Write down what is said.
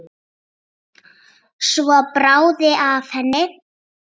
Svo bráði af henni.